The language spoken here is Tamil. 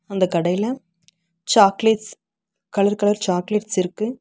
அந்தக் கடைல சாக்லேட்ஸ் கலர் கலர் சாக்லேட்ஸிருக்கு .